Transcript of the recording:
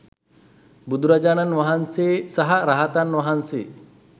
බුදුරජාණන් වහන්සේ සහ රහතන් වහන්සේ